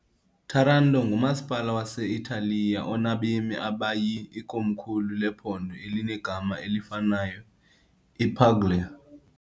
Taranto ngumasipala wase-Italiya onabemi abayi , ikomkhulu lephondo elinegama elifanayo, ePuglia.